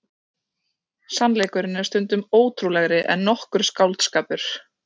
Sannleikurinn er stundum ótrúlegri en nokkur skáldskapur.